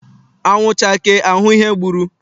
Anwụ chakee a hụ ihe gburu.